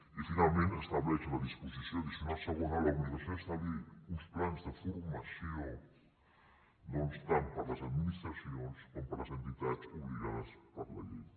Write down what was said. i finalment estableix la disposició addicional segona l’obligació d’establir uns plans de formació doncs tant per a les administracions com per a les entitats obligades per la llei